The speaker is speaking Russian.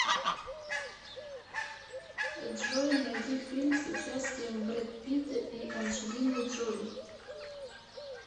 джой найди фильм с участием брэд питта и анджелиной джоли